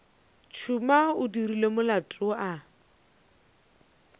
tšhuma o dirile molato a